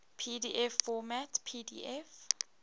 pdf format pdf